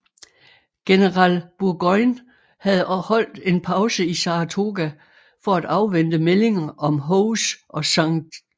General Burgoyne havde holdt en pause i Saratoga for at afvente meldinger om Howes og St